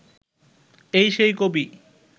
এই সেই কবি